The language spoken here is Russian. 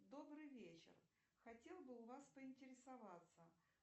добрый вечер хотела бы у вас поинтересоваться